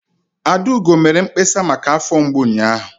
Adaugo mere mkpesa maka afọ mgbu ụnyaahụ.